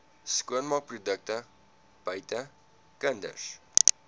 skoonmaakprodukte buite kinders